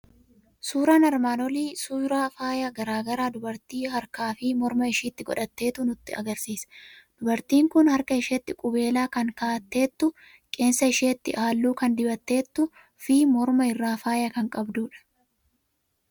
Suuraan armaan olii suyraa faaya garaa garaa dubartii harkaa fi morma ishiitti godhatteettu nu argisiisa. Dubartiin kun harka isheetti qubeelaa kan kaa'atteettu, qeensa ishiitti halluu kan dibatteettuu fi morma irraa faaya kan qabdudha.